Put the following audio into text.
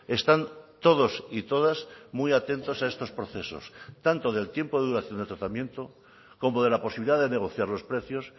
están todos y todas muy atentos a estos procesos tanto del tiempo de duración de tratamiento como de la posibilidad de negociar los precios